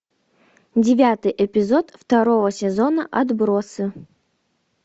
девятый эпизод второго сезона отбросы